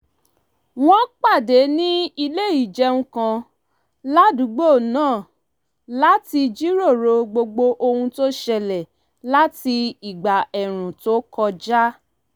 wọ́n pàdé ní ilé ìjẹun kan ládùúgbò náà láti jíròrò gbogbo ohun tó ṣẹlẹ̀ láti ìgbà ẹ̀ẹ̀rùn tó kọjá